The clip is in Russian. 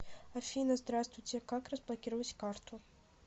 афина здраствуйте как разблокировать карту